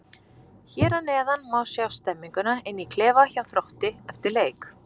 Hér að neðan má sjá stemninguna inn í klefa hjá Þrótti eftir leik.